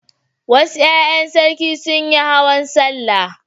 Wasu ƴaƴan sarki sun yi hawan sallah.